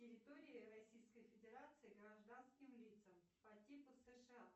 территория российской федерации гражданским лицам по типу сша